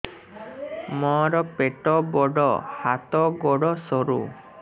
ମୋର ପେଟ ବଡ ହାତ ଗୋଡ ସରୁ